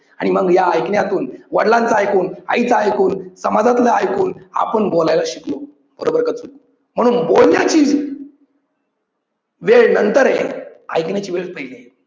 आणि मग या ऐकण्यातून वडिलांचं ऐकून, आईच ऐकून, समाजातलं ऐकून आपण बोलायला शिकलो. बरोबर का चूक म्हणून बोलण्याची वेळ नंतर आहे ऐकण्याची वेळ पहिले.